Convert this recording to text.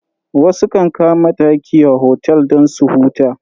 Wasu kan kama daki a otel don su huta.